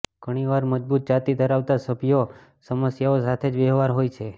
ઘણીવાર મજબૂત જાતિ ધરાવતા સભ્યો સમસ્યાઓ સાથે વ્યવહાર હોય છે